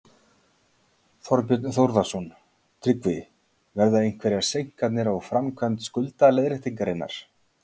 Þorbjörn Þórðarson: Tryggvi, verða einhverjar seinkanir á framkvæmd skuldaleiðréttingarinnar?